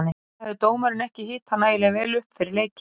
Líklega hafði dómarinn ekki hitað nægilega vel upp fyrir leikinn.